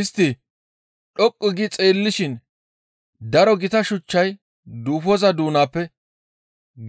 Istti dhoqqu gi xeellishin daro gita shuchchay duufoza doonappe